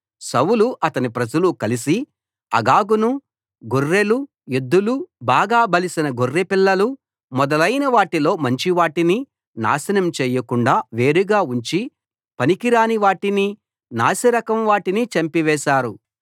సౌలు అతని ప్రజలు కలసి అగగును గొర్రెలు ఎద్దులు బాగా బలిసిన గొర్రెపిల్లలు మొదలైనవాటిలో మంచివాటినీ నాశనం చేయకుండా వేరుగా ఉంచి పనికిరాని వాటిని నాసిరకం వాటిని చంపివేశారు